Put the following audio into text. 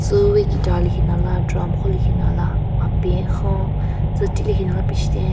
Tsü wi guitar lekhinala drum khon lekhinala apen ekhon tsüti lekhinala pichitheng.